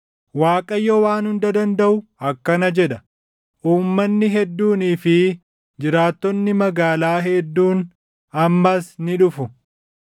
Waaqayyo Waan Hunda Dandaʼu akkana jedha: “Uummanni hedduunii fi jiraattonni magaalaa hedduun ammas ni dhufu;